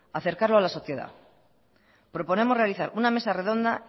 acercarlo a la sociedad proponemos realizar una mesa redonda